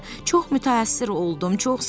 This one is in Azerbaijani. Çox müthəssir oldum, çox sağ olun.